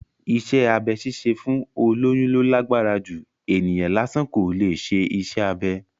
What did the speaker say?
Iṣẹ́ abẹ ṣíṣe fún olóyún ló lágbára jù, ènìyàn lásán kò leè ṣe iṣẹ́ abẹ